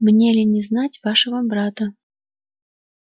мне ли не знать вашего брата